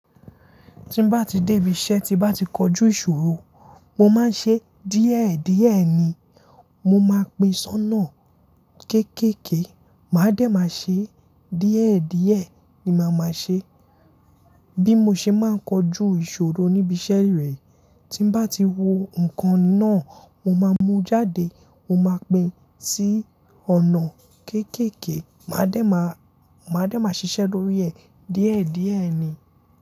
Tí n bá ti dé ibi iṣẹ́, tí bá ti kojú ìṣòro, mo máa ń ṣe díẹ̀díẹ̀ ni. Mo máa pín ṣọnà kéékèèké, màá dẹ̀ máa ṣe díẹ̀díẹ̀ ni màá máa ṣe. Bí mo ṣe máa ń kojú ìṣòro níbi iṣẹ́ rẹ̀, tí bá ti wo ǹkan ná, mo máa mú jáde, mo máa pín sí ọ̀nà kéékèèké, màá dẹ̀ máa, màá dẹ̀ máa ṣiṣẹ́ lórí ẹ̀ díẹ̀díẹ̀ ni.